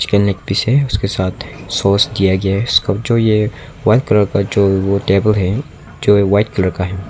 के नेक पीस है जिसके साथ सॉस दिया गया है जो ये जो व्हाइट कलर जो ओ टेबल है जो व्हाइट कलर का है।